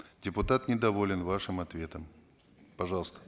депутат недоволен вашим ответом пожалуйста